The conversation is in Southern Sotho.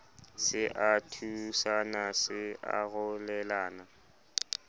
se a thusana se arolelana